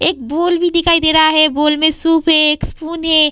एक बोल भी दिखाई दे रहा है। बोल में सुप है। एक स्पून है।